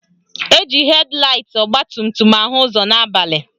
Eji hed laịt ọgbatumtum ahụ ụzọ n'abalị